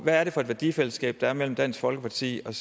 er det for et værdifællesskab der er mellem dansk folkeparti og